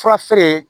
Fura feere